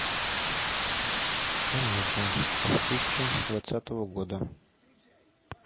комедия две тысячи двадцатого года